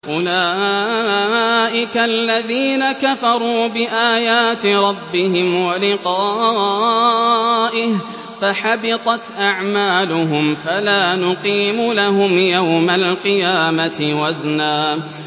أُولَٰئِكَ الَّذِينَ كَفَرُوا بِآيَاتِ رَبِّهِمْ وَلِقَائِهِ فَحَبِطَتْ أَعْمَالُهُمْ فَلَا نُقِيمُ لَهُمْ يَوْمَ الْقِيَامَةِ وَزْنًا